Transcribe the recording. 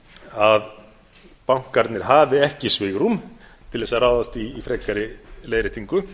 að bankarnir hafi ekki svigrúm til að ráðast í frekari leiðréttingu